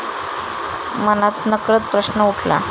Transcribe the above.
मनात नकळत प्रश्न उठला.